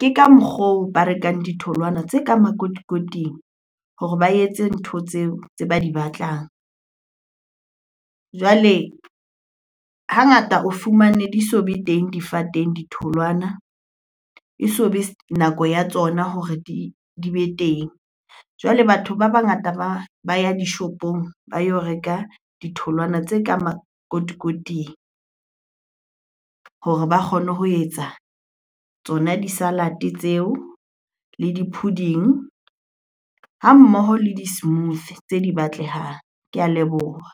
ke ka mokgwa oo ba rekang ditholwana tse ka makotikoting hore ba etse ntho tseo tse ba di batlang. Jwale hangata o fumane di so be teng difateng ditholwana, e so be nako ya tsona hore di be teng. Jwale batho ba bangata ba ya dishopong ba yo reka ditholwana tse ka makotikoting hore ba kgone ho etsa tsona di-salad-e tseo, le di-pudding hammoho le di-smoothy tse di batlehang. Ke a leboha.